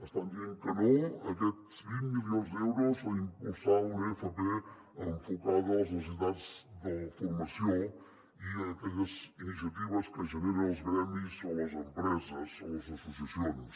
estan dient que no a aquests vint milions d’euros per impulsar una fp enfocada a les necessitats de la formació i a aquelles iniciatives que generen els gremis o les empreses o les associacions